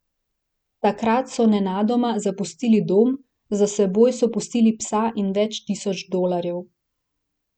Takrat so nenadoma zapustili dom, za seboj so pustili psa in več tisoč dolarjev.